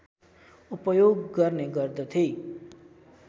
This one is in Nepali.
उपयोग गर्ने गर्दथे